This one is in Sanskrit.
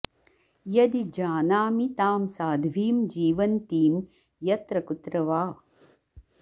यदि जानामि तां साध्वीं जीवन्तीं यत्र कुत्र वा